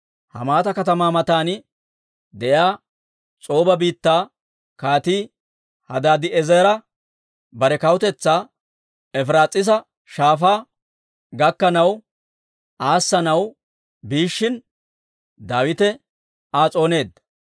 Hamaata katamaa matan de'iyaa S'ooba biittaa Kaatii Hadaadi'eezere, bare kawutetsaa Efiraas'iisa Shaafaa gakkanaw aassanaw biishshin, Daawite Aa s'ooneedda.